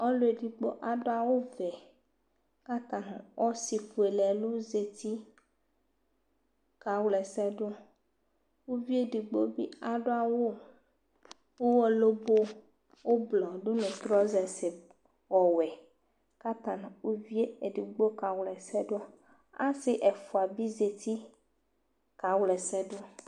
Ɔlʋ edigbo adʋ awʋvɛ kʋ ata nʋ ɔsɩfuele ɛlʋ zati kawla ɛsɛ dʋ Uvi edigbo bɩ adʋ awʋ ʋɣɔ lobo ʋblɔ dʋ nʋ trɔzɛs ɔwɛ kʋ ata nʋ uvi yɛ edigbo kawla ɛsɛ dʋ Asɩ ɛfʋa bɩ zati kawla ɛsɛ dʋ